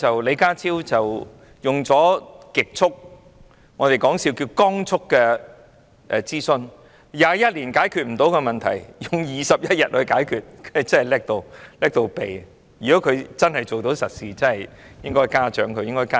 李家超極速——我們說笑是"光速"——進行諮詢，過去21年無法解決的問題，他只花了21天便解決了，他真的能幹得無與倫比。